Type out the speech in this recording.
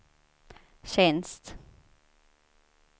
tjänst